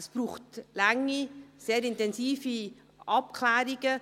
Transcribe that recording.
Es braucht lange, sehr intensive Abklärungen.